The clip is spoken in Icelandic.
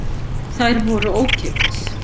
Þær voru ókeypis.